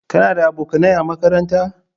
Kana da abokanai a makaranta?